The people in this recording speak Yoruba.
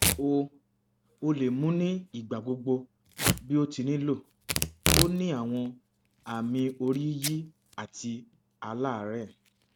o o le mu ni igbagbogbo bi o ti nilo o ni awọn aami oriyiyi ati alarẹ